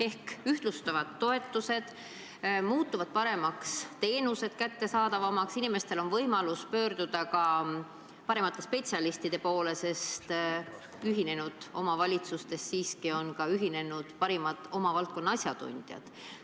Ehk toetused ühtlustuvad, teenused muutuvad paremaks ja kättesaadavamaks, inimestel on võimalus pöörduda ka paremate spetsialistide poole, sest ühinenud omavalitsustes on ühinenud siiski parimad oma valdkonna asjatundjad.